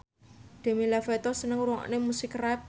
Demi Lovato seneng ngrungokne musik rap